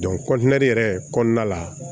yɛrɛ kɔnɔna la